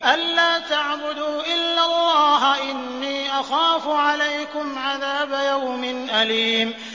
أَن لَّا تَعْبُدُوا إِلَّا اللَّهَ ۖ إِنِّي أَخَافُ عَلَيْكُمْ عَذَابَ يَوْمٍ أَلِيمٍ